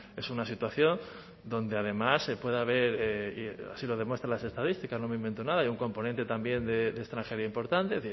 es una situación donde además puede haber y así lo demuestran las estadísticas no me invento nada hay un componente también de extranjería importante